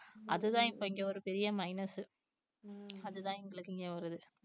அதுதான் இப்போ இங்கே ஒரு பெரிய minus உ அதுதான் எங்களுக்கு இங்கே வருது